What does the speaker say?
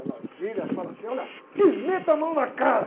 Ela gira e fala assim, olha, te meto a mão na cara!